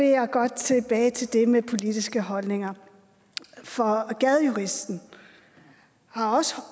jeg godt tilbage til det med politiske holdninger for gadejuristen har også